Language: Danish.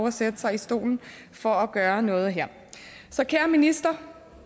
at sætte sig i stolen for at gøre noget her så kære minister